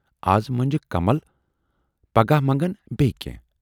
از منجکھ کمل پگاہ منگن بییہِ کینہہ۔